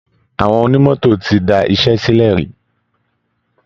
Àwọn onímọ́tò ti da iṣẹ́ sílẹ̀ rí